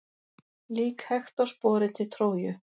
Lík Hektors borið til Tróju.